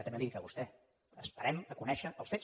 també li ho dic a vostè esperem a conèixer els fets